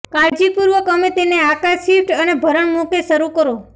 કાળજીપૂર્વક અમે તેને આકાર શિફ્ટ અને ભરણ મૂકે શરૂ કરો